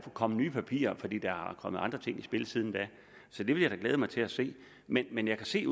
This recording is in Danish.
komme nye papirer fordi der er kommet andre ting i spil siden da så det vil jeg da glæde mig til at se men men jeg kan se